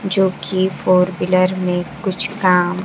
जो कि four wheeler में कुछ काम--